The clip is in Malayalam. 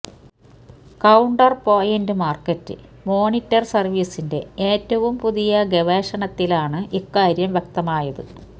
കൌണ്ടർപൊയിന്റ് മാർക്കറ്റ് മോണിറ്റർ സർവീസിന്റെ ഏറ്റവും പുതിയ ഗവേഷണത്തിലാണ് ഇക്കാര്യം വ്യക്തമായത്